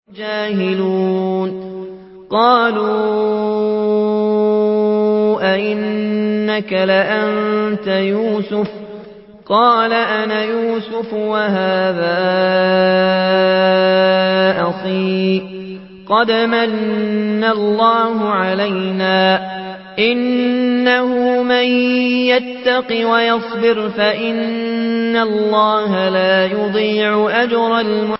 قَالُوا أَإِنَّكَ لَأَنتَ يُوسُفُ ۖ قَالَ أَنَا يُوسُفُ وَهَٰذَا أَخِي ۖ قَدْ مَنَّ اللَّهُ عَلَيْنَا ۖ إِنَّهُ مَن يَتَّقِ وَيَصْبِرْ فَإِنَّ اللَّهَ لَا يُضِيعُ أَجْرَ الْمُحْسِنِينَ